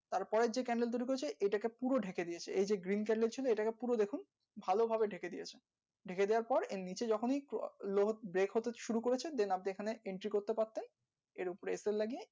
তার পরের যেই তৈরী করেছে এটাকে পুরো ডেকে দিয়েছে এই যে ছিল এটাকে পুরো দেখুন ভালো ভাবে ডেকে দিয়েছে ডেকে দেওয়ার পর এর নিচে যখনি পোআ লোক হতে শুরু করেছে আপনি এখানে করতে পারতেন এর উপরে লাগিয়ে